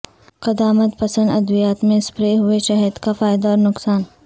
قدامت پسند ادویات میں سپرے ہوئے شہد کا فائدہ اور نقصان